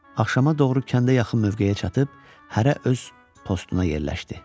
Axşama doğru kəndə yaxın mövqeyə çatıb, hərə öz postuna yerləşdi.